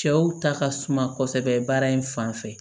Cɛw ta ka suma kosɛbɛ baara in fan fɛ